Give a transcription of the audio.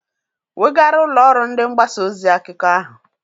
Wegaara ụlọ ọrụ ndị mgbasa ozi akụkọ ahụ!